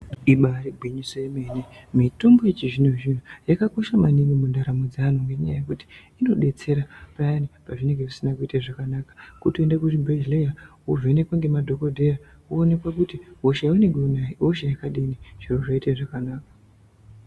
Ibari gwinyiso remene mene ,mitombo yechizvino zvino yakakoshe maningi mundaramo dzeanhu ngenyaya yekuti inodetsera payani pazvinenge zvisina kuita zvakanaka. Kutoende kuzvibhehleya wovhenekwa ngemadhokodheya woonekwa kuti hosha yaunayo ihosha yakadini, zviro zvoita zvakanaka.